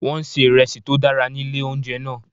Wọ́n ń se ìresí tó dára ní ilé oúnjẹ náà.